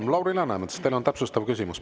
Ja, Lauri Läänemets, teil on täpsustav küsimus.